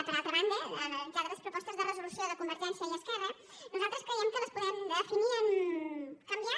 per altra banda analitzades les propostes de resolució de convergència i esquerra nosaltres creiem que les podem definir en canviar